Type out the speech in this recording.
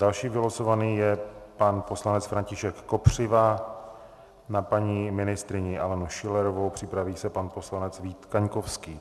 Další vylosovaný je pan poslanec František Kopřiva na paní ministryni Alenu Schillerovou, připraví se pan poslanec Vít Kaňkovský.